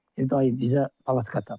Deyir dayı bizə palatka tap.